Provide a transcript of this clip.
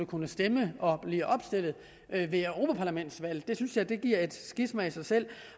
kunne stemme og blive opstillet ved europaparlamentsvalg det synes jeg giver et skisma i sig selv